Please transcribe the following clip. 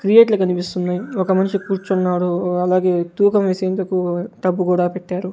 క్రియేట్లో కనిపిస్తున్నాయి ఒక మనిషి కూర్చున్నాడు అలాగే తూకం వేసేందుకు టబ్బు కూడా పెట్టారు.